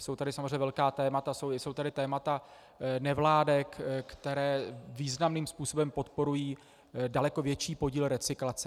Jsou tady samozřejmě velká témata, jsou tady témata nevládek, které významným způsobem podporují daleko větší podíl recyklace.